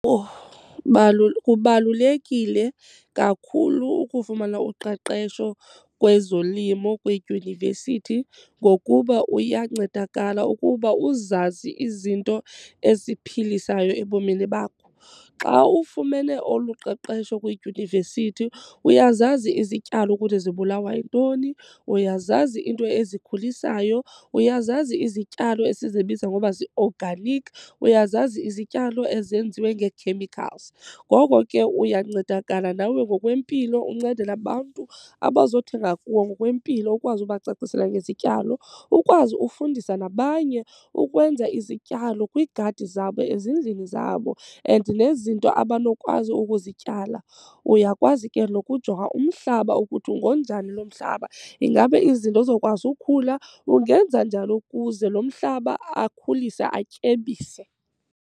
Kubalulekile kakhulu ukufumana uqeqesho kwezolimo kwiidyunivesithi ngokuba uyancedakala ukuba uzazi izinto eziphilisayo ebomini bakho. Xa ufumene olu qeqesho kwidyunivesithi uyazazi izityalo ukuthi zibulawa yintoni, uyazazi into ezikhulisayo, uyazazi izityalo esizibiza ngokuba zii-organic, uyazazi izityalo ezenziwe ngee-chemicals. Ngoko ke uyancedakala nawe ngokwempilo, uncede nabantu abazothenga kuwe ngokwempilo ukwazi ubacacisela ngezityalo, ukwazi ufundisa nabanye ukwenza izityalo kwiigadi zabo ezindlini zabo and nezinto abanokwazi ukuzityala. Uyakwazi ke nokujonga umhlaba ukuthi ngonjani lo mhlaba. Ingaba izinto zokwazi ukhula? Ungenza njani ukuze lo mhlaba akhulise atyebise?